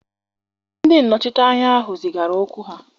Ndị nnọchiteanya ahụ zigara okwu ha